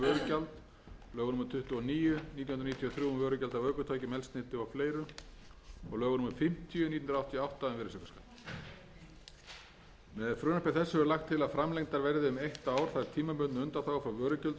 lögum númer fimmtíu nítján hundruð áttatíu og átta um virðisaukaskatt með frumvarpi þessu er lagt til að framlengdar verði um eitt ár þær tímabundnu undanþágur frá vörugjöldum og virðisaukaskatti sem gilda um